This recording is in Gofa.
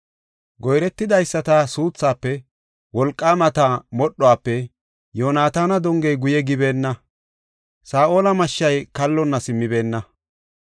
Goyretidaysata suuthaafe, wolqaamata modhuwafe, Yoonataana dongey guye gibeenna; Saa7ola mashshay kallonna simmibeenna.